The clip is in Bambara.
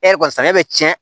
E yɛrɛ kɔni saɲɔ bɛ cɛn